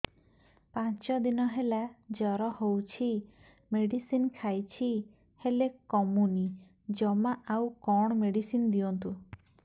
ପାଞ୍ଚ ଦିନ ହେଲା ଜର ହଉଛି ମେଡିସିନ ଖାଇଛି ହେଲେ କମୁନି ଜମା ଆଉ କଣ ମେଡ଼ିସିନ ଦିଅନ୍ତୁ